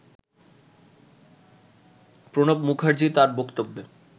প্রণব মুখার্জি তার বক্তব্যে